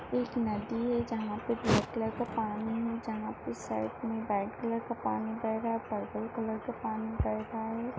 एक नदी है जहा पे व्हाइट कलर का पानी है जहा पे साइड में व्हाइट कलर का पानी बेह रहा है। पर्पल कलर का पानी बेह रहा है।